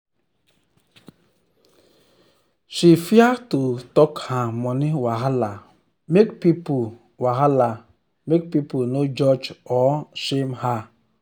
she fear to talk her money wahala make people wahala make people no judge or shame her.